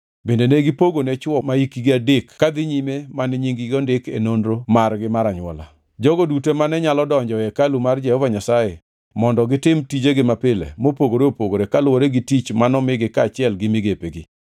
Bende ne gipogone chwo mahikgi adek kadhi nyime mane nying-gi ondiki e nonro margi mar anywola, jogo duto mane nyalo donjo e hekalu mar Jehova Nyasaye mondo gitim tijegi mapile mopogore opogore kaluwore gi tich manomigi kaachiel gi migepegi.